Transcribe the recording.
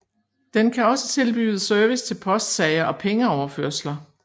Den kan også tilbyde service til postsager og pengeoverførsler